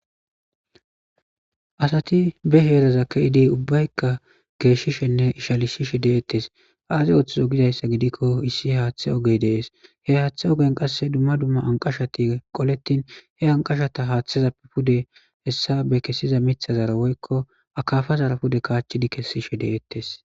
asati be heereza ke'idi ubbaykka geeshishenne ishalisishe deettes aazi ooththizo gidayssa gidikko issi haaththe ogey dees he haaththe ogen qasse dumma dumma anqashati qoletin he anqashata haaththeza pe pude hessa be kessiza mithazara woykko akafazara pude kaachchidi kessishe de'ettes